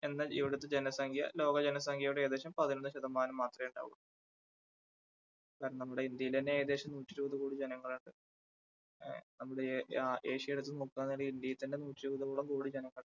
എന്നാൽ ഇവിടുത്തെ ജനസംഖ്യ ലോക ജനസംഖ്യയുടെ ഏകദേശം പതിനൊന്ന് ശതമാനം മാത്രമേ ഉണ്ടാവൂള്ളൂ കാരണം നമ്മുടെ ഇന്ത്യയിൽ തന്നെ ഏകദേശം നൂറ്റിയിരുപത് കോടി ജനങ്ങൾ ഉണ്ട് ആ നമ്മുടെ ആ ഏഷ്യ എടുത്തുനോക്കുമ്പോൾ തന്നെ ഇന്ത്യയിൽ തന്നെ നൂറ്റിയിരുപതോളം കോടി ജനങ്ങൾ ഉണ്ട്.